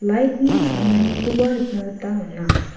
light-ni ching·enganikoba nikna gita man·a.